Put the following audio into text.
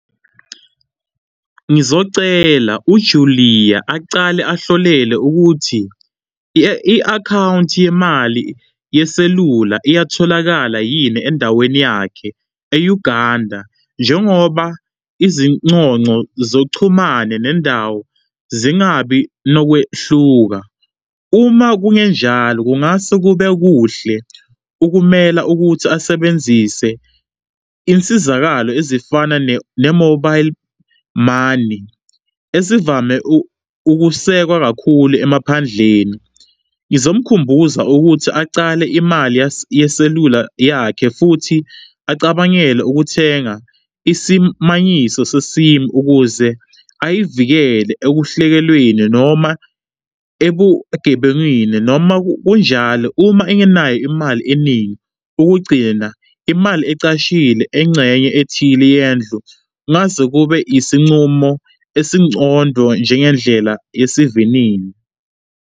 Ngizocela uJulia acale ahlolele ukuthi i-akhawunti yemali yeselula iyatholakala yini endaweni yakhe e-Uganda. Njengoba izinconco zochumane nendawo zingabi nokwehluka, uma kungenjalo kungase kube kuhle ukumela ukuthi asebenzise insizakalo ezifana ne-mobile money ezivame ukusekwa kakhulu emaphandleni. Ngizomkhumbuza ukuthi acale imali yeselula yakhe futhi acabangele ukuthenga isimanyiso se-SIM ukuze ayivikele ekuhlekelweni noma ebugebengwini. Noma kunjalo uma engenayo imali eningi, ukugcina imali ecashile engxenye ethile yendlu ngase kube isinqumo esingcondo njengendlela yesivinini.